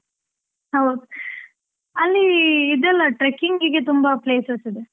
ಹೌದು. ಅಲ್ಲಿ ಇದೆಲ್ಲ trekking ಇಗೆ ತುಂಬಾ places ಇದೆ.